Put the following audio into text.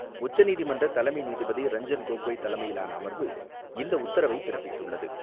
உச்சநீதிமன்ற தலைமை நீதிபதி ரஞ்சன் கோகோய் தலைமையிலான அமர்வு, இந்த உத்தரவைப் பிறப்பித்துள்ளது.